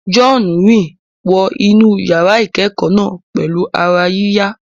John rìn wọ inú yàrá ìkẹ́kọ̀ọ́ náà pẹ̀lú ara yíyá.